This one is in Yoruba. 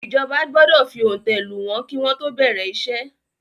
ìjọba gbọdọ fi òǹtẹ̀ lù wọ́n kí wọ́n tó bẹ̀rẹ̀ iṣẹ́.